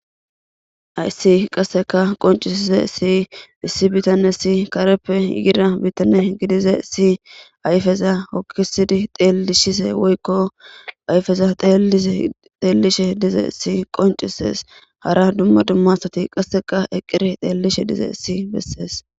Hayssi qasseka qoncisise si issi bitane si kareppe yira bitane gidize si ayfeza okkisidi xeelishise woykko ayfeza xeellishe dize si qoncises hara dumma dummasati qasseka eqqire xeellishe dize issi bessees